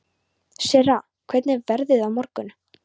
Sirra, hvernig er veðrið á morgun?